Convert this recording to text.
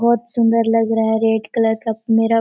बहोत सुन्दर लग रहा है रेड का मेरा प--